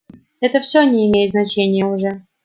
это все не имеет значения уже